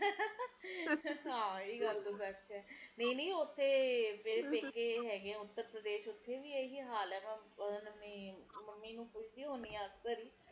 ਹੁਣ ਤੇ ਦਿੱਲੀ ਤੇ ਬੰਗਲੌਰ ਸਾਰੇ ਕੀਤੇ ਇੱਕੋ ਹੀ ਹਾਲ ਹੈ ਹੁਣ ਤਾ ਸਾਰੇ ਕੀਤੇ ਫੈਕਟਰੀਆਂ ਲੱਗ ਚੁੱਕਿਆ ਨੇ ਛੋਟੇ ਛੋਟੇ ਘਰਾਂ ਵਿਚ ਲੋਕਾਂ ਦੀਆ ਲਗਾਇਆ ਹੋਇਆ ਤੇ ਕਾਮ ਹੈ ਨੀ ਕਰਨ ਨੂੰ ਲੋਕੀ ਵੀ ਕਿ ਕਰਨ ਪ੍ਰਦੂਸ਼ਣ ਵਧਦਾ ਜਾ ਰਿਹਾ ਹੈ